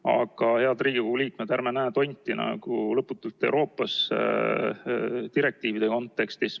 Aga, head Riigikogu liikmed, ärme näe lõputult tonti Euroopa direktiivide kontekstis.